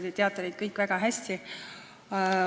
Te teate neid kõik väga hästi.